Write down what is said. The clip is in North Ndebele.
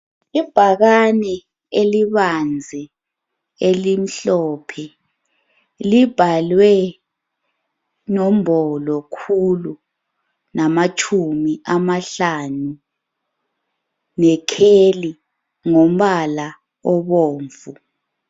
Ibhakani elibanzi elimhlophe libhalwe nombolo khulu namatshumi amahlanu ngekheli ngombala obomvu.